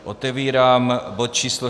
Otevírám bod číslo